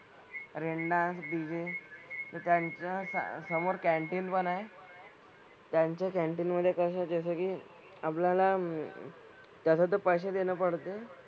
Rain dance DJ तर त्यांचं स समोर कँटीन पण आहे. त्यांच्या कँटीन मधे कसं जसं की आपल्याला तसं तर पैसे देणं पडते.